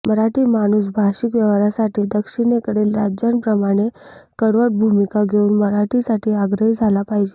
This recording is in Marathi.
मराठी माणूस भाषिक व्यवहारासाठी दक्षीणेकडील राज्यांप्रमाणे कडवट भूमीका घेऊन मराठीसाठी आग्रही झाला पाहिजे